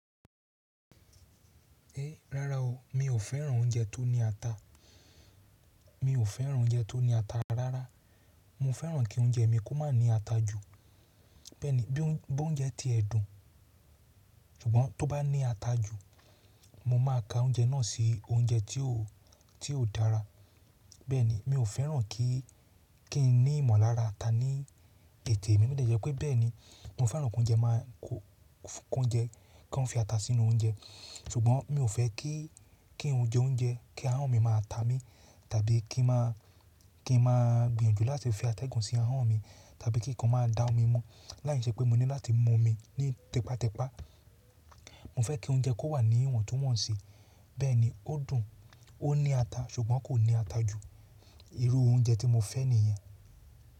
Rárá o, mi ò fẹ́ràn oúnjẹ tó ní ata. Mi ò fẹ́ràn oúnjẹ tó ní ata rárá. Mo fẹ́ràn kí oúnjẹ mi kó má ní ata jù. Bẹ́ẹ̀ ni, bí óúnjẹ tí ẹ dùn, ṣùgbọ́n tó bá ní ata jù, mo máa ka oúnjẹ náà sí oúnjẹ tí ó, tí ó dára. Bẹ́ẹ̀ ni, mi ò fẹ́ràn kí, kí n ní ìmọ̀lára ata ní tètè mi. Bó dẹ̀ jẹ́ pé bẹ́ẹ̀ ni, mo fẹ́ràn kí oúnjẹ máa kó, kí oúnjẹ, kí wọ́n fi ata sínú oúnjẹ. Ṣùgbọ́n mi ò fẹ́ kí, kí n jẹ oúnjẹ, kí ahọ́n mi máa ta mí, tàbí kí n má, kí n má gbìyànjú láti fi ata ẹ̀gàn sí ahọ́n mi, tàbí kí nǹkan máa da omi mọ́, láìṣe pé mo ní láti mọ omi ní tẹpátẹpá. Mo fẹ́ kí oúnjẹ kó wà ní ìwọ̀ntúnwọ̀nsì. Bẹ́ẹ̀ ni, ó dùn, ó ní ata, ṣùgbọ́n kò ní ata jù. Irú oúnjẹ tí mo fẹ́ nìyẹn.